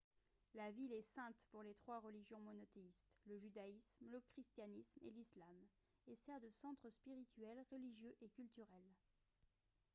la ville est sainte pour les trois religions monothéistes le judaïsme le christianisme et l'islam et sert de centre spirituel religieux et culturel